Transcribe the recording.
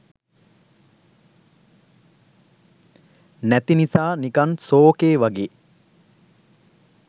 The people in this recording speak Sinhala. නැති නිසා නිකන් සෝකේ වගේ.